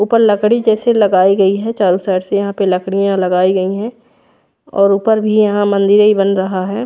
ऊपर लकड़ी जैसी लगाई गई है चारो साइड से यहाँ पे लकड़िया लगाई गयी है और ऊपर भी यहाँ मंदिरे बन रहा है।